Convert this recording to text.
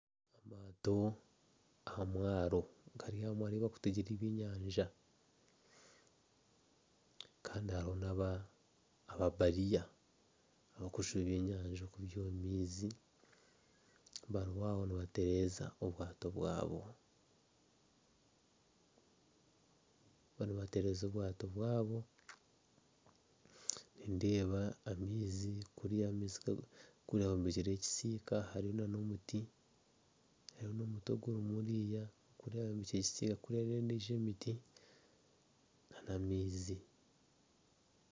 Omuntu aha mwaaro ari ahi barikutegyera ebyenyanja kandi hariho na ababariya aba kujuba ebyenyanja kubyiiha omu maizi. Bari aho nibatereza obwaato bwabo. Nindeeba amaizi kuriya bombekireyo ekisiika hariyo nana omuti hariyo n'omuti oguri kuriya. Kuriya hariyo endijo emiti hamwe na amaizi.